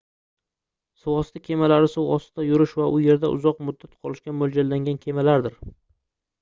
suvosti kemalari suv ostida yurish va u yerda uzoq muddat qolishga moʻljallangan kemalardir